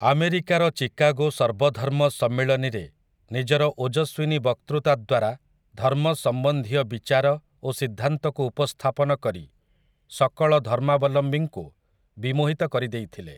ଆମେରିକାର ଚିକାଗୋ ସର୍ବଧର୍ମ ସମ୍ମିଳନୀରେ ନିଜର ଓଜସ୍ୱିନୀ ବକ୍ତୃତା ଦ୍ୱାରା ଧର୍ମ ସମ୍ବନ୍ଧୀୟ ବିଚାର ଓ ସିଦ୍ଧାନ୍ତକୁ ଉପସ୍ଥାପନ କରି ସକଳ ଧର୍ମାବଲମ୍ବୀଙ୍କୁ ବିମୋହିତ କରି ଦେଇଥିଲେ ।